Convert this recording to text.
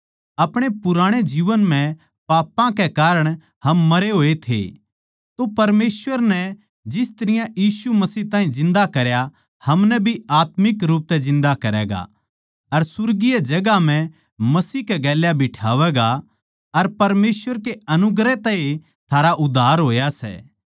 अपणे पुराणे जीवन म्ह पापां के कारण हम मरे होए थे तो परमेसवर नै जिस तरियां मसीह ताहीं जिन्दा करया हमनै भी आत्मिक रूप तै जिन्दा करैगा अर सुर्गीय जगहां म्ह मसीह कै गेल्या बिठावैगा अर परमेसवर के अनुग्रह तै ए थारा उद्धार होया सै